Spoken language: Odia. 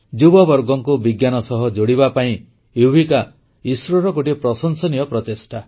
ଯୁବବର୍ଗଙ୍କୁ ବିଜ୍ଞାନ ସହ ଯୋଡ଼ିବା ପାଇଁ ୟୁବିକା ଇସ୍ରୋର ଗୋଟିଏ ପ୍ରଶଂସନୀୟ ପ୍ରଚେଷ୍ଟା